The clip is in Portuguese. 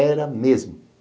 Era mesmo.